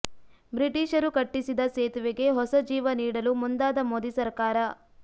ಬ್ರೀಟಿಷರು ಕಟ್ಟಿಸಿದ ಸೇತುವೆಗೆ ಹೊಸ ಜೀವ ನೀಡಲು ಮುಂದಾದ ಮೋದಿ ಸರಕಾರ